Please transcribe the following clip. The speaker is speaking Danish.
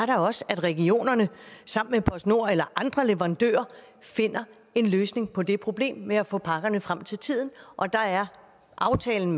da også at regionerne sammen med postnord eller andre leverandører finder en løsning på det problem med at få pakkerne frem til tiden og der er aftalen